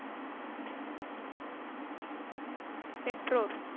பெற்றோர்.